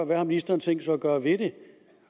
hvad har ministeren tænkt sig at gøre ved det